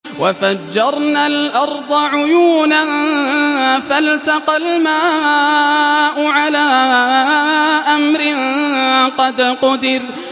وَفَجَّرْنَا الْأَرْضَ عُيُونًا فَالْتَقَى الْمَاءُ عَلَىٰ أَمْرٍ قَدْ قُدِرَ